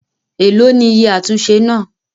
Èlò ni iye àtúnṣe náà?